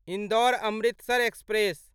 Indore Amritsar express